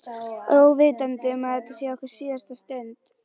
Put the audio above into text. Óvitandi um að þetta var okkar síðasta stund.